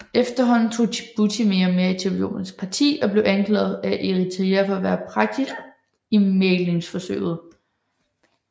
Efterhånden tog Djibouti mere og mere Etiopiæns parti og blev anklaget af Eritrea for at være partisk i mæglingsforsøget